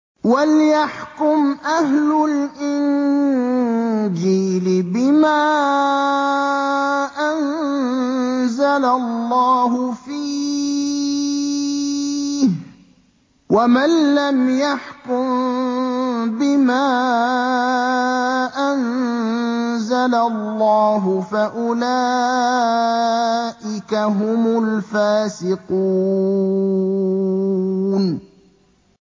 وَلْيَحْكُمْ أَهْلُ الْإِنجِيلِ بِمَا أَنزَلَ اللَّهُ فِيهِ ۚ وَمَن لَّمْ يَحْكُم بِمَا أَنزَلَ اللَّهُ فَأُولَٰئِكَ هُمُ الْفَاسِقُونَ